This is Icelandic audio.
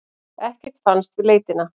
Ekkert fannst við leitina.